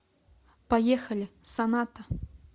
поехали соната